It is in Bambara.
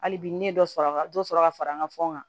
Hali bi ne dɔ sɔrɔ a ka dɔ sɔrɔ ka fara n ka fɛnw kan